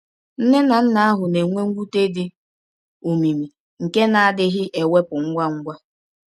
Nne na nna ahụ na-enwe mwute dị omimi nke na-adịghị ewepụ ngwa ngwa.